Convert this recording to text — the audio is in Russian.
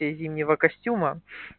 из зимнего костюма